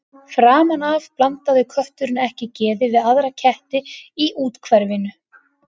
Framan af blandaði kötturinn ekki geði við aðra ketti í úthverfinu.